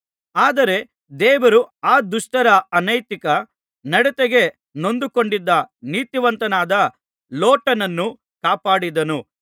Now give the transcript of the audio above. ಆದರೆ ದೇವರು ಆ ದುಷ್ಟರ ಅನೈತಿಕ ನಡತೆಗೆ ನೊಂದುಕೊಂಡಿದ್ದ ನೀತಿವಂತನಾದ ಲೋಟನನ್ನು ಕಾಪಾಡಿದನು